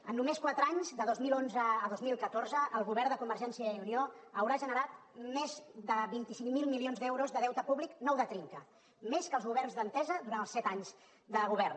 en només quatre anys de dos mil onze a dos mil catorze el govern de convergència i unió haurà generat més de vint cinc mil milions d’euros de deute públic nou de trinca més que els governs d’entesa durant els set anys de govern